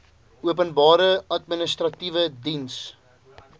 openbare administratiewe diens